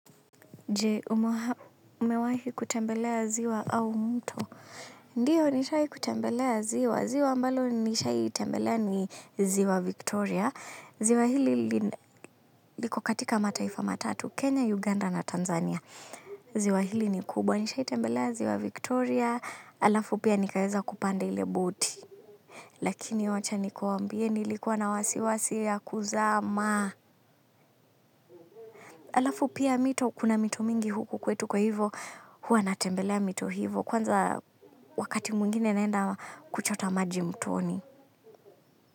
Je umewahi kutembelea ziwa au mto. Ndiyo nishai kutembelea ziwa. Ziwa mbalo nishai tembelea ni ziwa Victoria. Ziwa hili liko katika mataifa matatu. Kenya, Uganda na Tanzania. Ziwa hili ni kubwa. Nishai tembelea ziwa Victoria. Alafu pia nikaweza kupanda ile boti. Lakini wacha nikuambie nilikuwa na wasiwasi ya kuzama. Alafu pia mito kuna mito mingi huku kwetu kwa hivo. Huwa natembelea mito hivo kwanza wakati mwingine naenda kuchota maji mtoni.